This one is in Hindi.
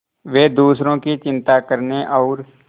वे दूसरों की चिंता करने और